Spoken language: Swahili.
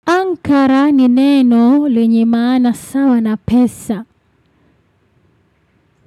Ankara ni neno lenye maana sawa na pesa.